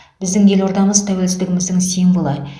біздің елордамыз тәуелсіздігіміздің символы